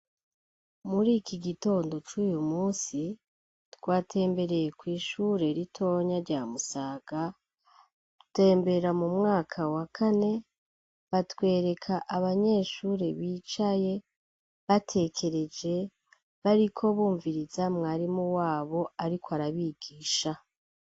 Muri iki gitondo cuyu musi twatembereye kw'ishuri ritonya rya Musaga dutembera mu mwaka wa kane batwereka abanyeshuri bicaye batekereje bariko bumviriza mwarimu wabo ariko arabigisha.